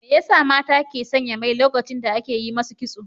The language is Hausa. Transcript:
Me ya sa mata ke sanya mai lokacin da ake yi masu kitso?